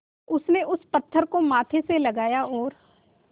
उसने उस पत्थर को माथे से लगाया और